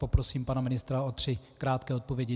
Poprosím pana ministra o tři krátké odpovědi.